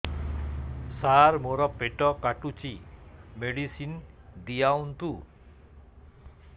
ସାର ମୋର ପେଟ କାଟୁଚି ମେଡିସିନ ଦିଆଉନ୍ତୁ